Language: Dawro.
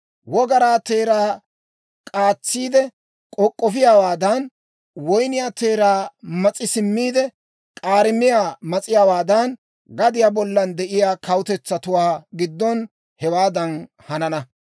Wogaraa teeraa k'aatsiide k'ok'k'ofiyaawaadan, woy woyniyaa teeraa mas'i simmiide, k'aarimiyaa mas'iyaawaadan, gadiyaa bollan de'iyaa kawutetsatuwaa giddon hewaadan hanana.